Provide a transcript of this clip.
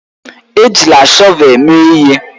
Ejila shọvel mee ihe!